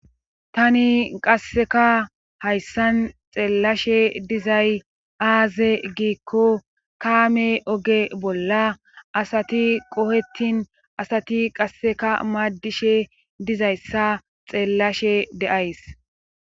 tani qasseka hayssan xeellashe dizay aaze giikko kaame oge bolla asati qohettin asati qasseka maaddishe dizayssa xeellashe de7ays